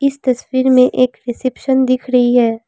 इस तस्वीर में एक रिसेप्शन दिख रही है।